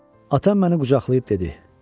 Atam məni qucaqlayıb dedi: